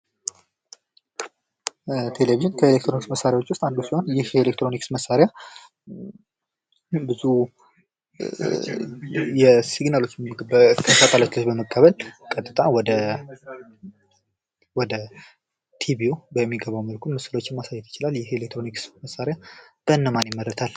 ቴሌቭዥን ከአሌክትሮኒክስ መሳሪያዎች ዉስጥ አንዱ ሲሆን ይህ የኤሌክትሮኒክስ መሳሪያ ብዙ ስግናሎችን በሳተላይቶች በመቀበል ቀጥታ ወደ ቲቪው በሚገባ መልኩ ምስሎችን ማሳየት ይችላል:: ይህ የ ኤሌክትሮኒክስ መሳሪያ በነማን ይመረታል?